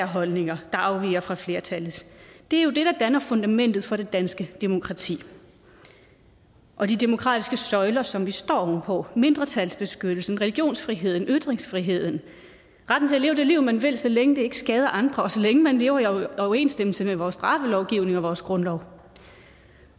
holdninger der afviger fra flertallets er jo det der danner fundamentet for det danske demokrati og de demokratiske søjler som vi står oven på mindretalsbeskyttelsen religionsfriheden ytringsfriheden og leve det liv man vil så længe det ikke skader andre og så længe man lever i overensstemmelse med vores straffelovgivning og vores grundlov